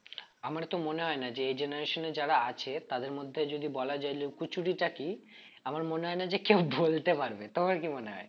আমার তো মনে হয় না যে এ generation এ যারা আছে তাদের মধ্যে যদি বলা যায় লুকোচুরি টা কি আমার মনে হয় না যে কেউ বলতে পারবে তোমার কি মনে হয়?